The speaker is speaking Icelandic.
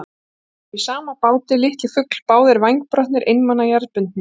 Við erum í sama báti, litli fugl, báðir vængbrotnir, einmana, jarðbundnir.